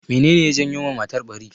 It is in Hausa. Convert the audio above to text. Me ne ne ya janyo ma matar ɓari?